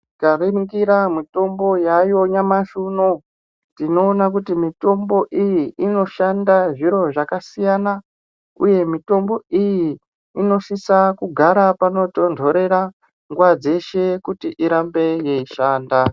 Tikaringira mitombo yayo nyamashi unouuyu tinoona kuti mitombo iyi inoshanda zvakasiyana, uye mitombo iyi inosisa kugara panotonhorera nguva dzeshe kuti irambe yeishanda.